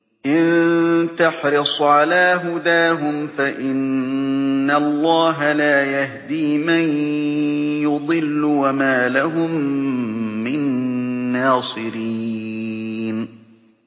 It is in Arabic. إِن تَحْرِصْ عَلَىٰ هُدَاهُمْ فَإِنَّ اللَّهَ لَا يَهْدِي مَن يُضِلُّ ۖ وَمَا لَهُم مِّن نَّاصِرِينَ